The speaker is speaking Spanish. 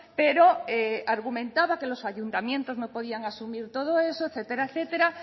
pero argumentaba que los ayuntamientos no podían asumir todo eso etcétera etcétera